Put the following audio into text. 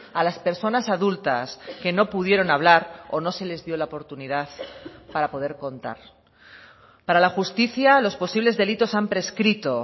a las personas adultas que no pudieron hablar o no se les dio la oportunidad para poder contar para la justicia los posibles delitos han prescrito